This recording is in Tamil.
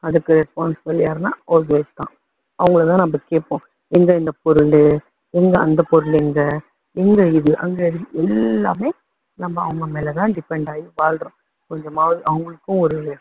அதுக்கு responsible யாருன்னா house wife தான். அவங்களை தான் நம்ம கேப்போம். எங்க இந்த பொருள். எங்க அந்த பொருள் எங்க. இந்த இது, அங்க அது எல்லாமே நம்ம அவங்க மேல தான் depend ஆகி வாழுறோம். கொஞ்சமாவது அவங்களுக்கும் ஒரு